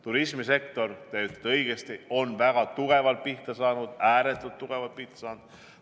Turismisektor, te ütlete õigesti, on väga tugevalt pihta saanud, ääretult tugevalt pihta saanud.